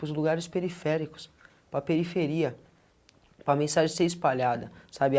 Para os lugares periféricos, para a periferia, para a mensagem de ser espalhada, sabe? A